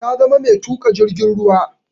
Ta zama mai tuka jirgin ruwa.